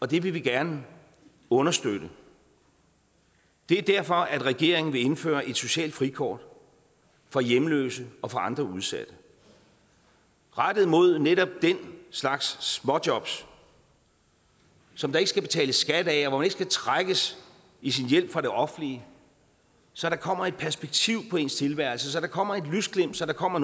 det vil vi gerne understøtte det er derfor regeringen vil indføre et socialt frikort for hjemløse og andre udsatte rettet mod netop den slags småjobs som der ikke skal betales skat af og man skal trækkes i sin hjælp fra det offentlige så kommer der et perspektiv på ens tilværelse så kommer der et lysglimt så kommer